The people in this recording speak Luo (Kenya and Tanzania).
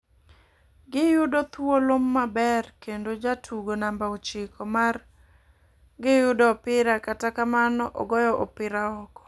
Gi yudo thuolo maber kendo jatugo namba ochiko mar gi yudo opira kata kamano ,ogoyo opira oko.